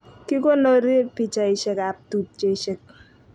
Kikonorii pichaishek ab tupcheshek